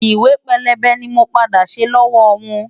Ìwé pélébé ni mo padà ṣe lọ́wọ́ wọn.